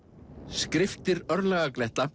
skriftir